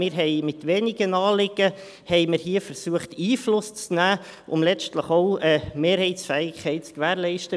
Wir haben mit wenigen Anliegen versucht, hier Einfluss zu nehmen, um letztlich auch eine Mehrheitsfähigkeit zu gewährleisten.